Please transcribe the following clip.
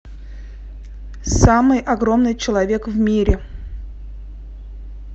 самый огромный человек в мире